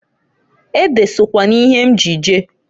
Ede sokwa n'ihe m ji je.